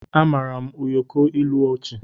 Amaara m ụyọkọ ilu ọchị